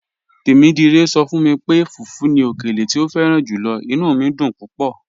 "Tẹmidire sọ fun mi pé fùfù ni ọkèlè tí o fẹ̀ràn júlọ̀, inú mi dún púpọ̀."